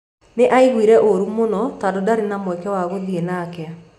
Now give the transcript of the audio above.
Nĩ aaiguire ũũru mũno tondũ ndarĩ na mweke wa gũthiĩ nake.